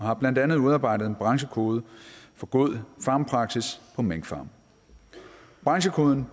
har blandt andet udarbejdet en branchekode for god farmpraksis på minkfarme branchekoden